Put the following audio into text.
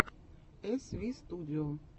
эсвистудио